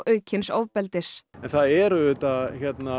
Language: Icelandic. aukins ofbeldis það er auðvitað